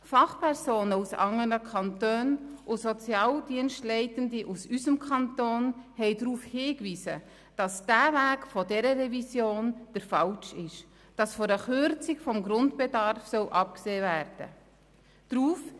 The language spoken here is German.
Fachpersonen aus anderen Kantonen und Sozialdienstleitende aus unserem Kanton haben darauf hingewiesen, dass der Weg dieser Revision falsch ist und auf eine Kürzung des Grundbedarfs verzichtet werden soll.